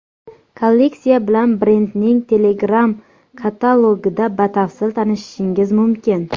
Kolleksiya bilan brendning Telegram-katalogida batafsil tanishishingiz mumkin.